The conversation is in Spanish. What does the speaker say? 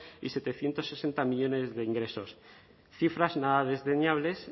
y setecientos sesenta millónes de ingresos cifras nada desdeñables